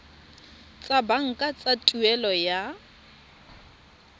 tsa banka tsa tuelo ya